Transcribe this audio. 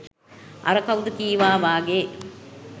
අර කවුද කිවා වගේ